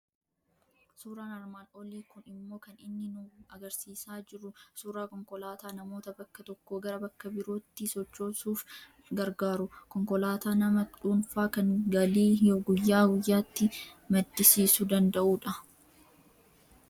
Suuraan armaan olii kun immoo kan inni nu argisiisaa jiru suuraa konkolaataa namoota bakka tokkoo gara bakka biraatti sochoosuuf gargaaru, konkolaataa nama dhuunfaa kan galii guyyaa guyyaatti maddisiisu danda'u dha.